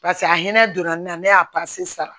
Paseke a hinɛ donna ne na ne y'a sara